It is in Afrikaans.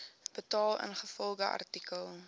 betaal ingevolge artikel